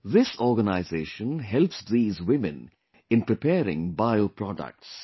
This organization helps these women in preparing bio products